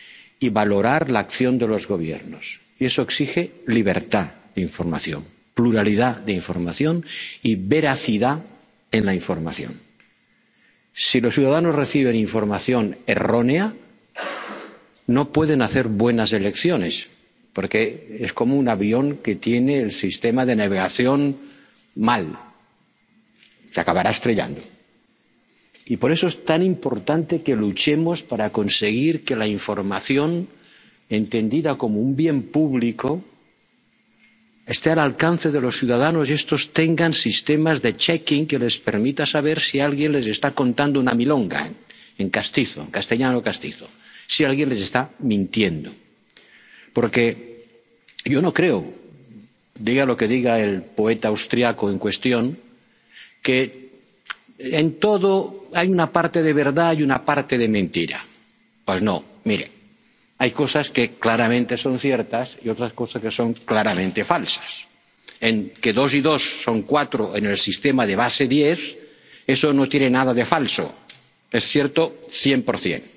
y valorar la acción de los Gobiernos, y eso exige libertad de información, pluralidad de información y veracidad en la información. Si los ciudadanos reciben información errónea, no pueden hacer buenas elecciones, porque es como un avión que tiene el sistema de navegación mal. Se acabará estrellando. Y, por eso, es tan importante que luchemos para conseguir que la información, entendida como un bien público, esté al alcance de los ciudadanos y estos tengan sistemas de comprobación que les permitan saber si alguien les está contando una milonga —en castizo, castellano castizo—, si alguien les está mintiendo. Porque yo no creo —diga lo que diga el poeta austriaco en cuestión— que en todo hay una parte de verdad y una parte de mentira. Pues, no. Mire, hay cosas que claramente son ciertas y otras cosas que son claramente falsas. Que 2 y 2 son 4 en el sistema de base 10, eso no tiene nada de falso, es cierto cien